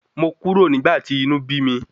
Mo kúrò nígbà tí inú bí mi.